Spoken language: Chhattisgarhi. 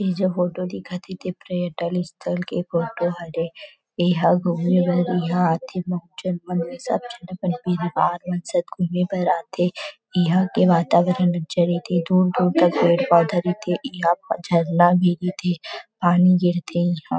इ जो फोटो दिखत हे ते पर्यटल स्थल के फोटो हरे इहा घूमे बर इहाँ आथे बहुत झन मन सब झन अपन परिवार मन साथ घुमे बर आथे इहा के वातावरण दूर- दूर तक पेड़ -पौधा रइथे इहाँ पर झरना भी गिरथे पानी गिरथे इहाँ --